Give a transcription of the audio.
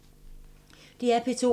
DR P2